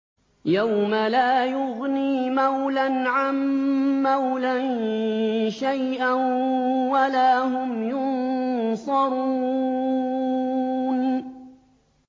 يَوْمَ لَا يُغْنِي مَوْلًى عَن مَّوْلًى شَيْئًا وَلَا هُمْ يُنصَرُونَ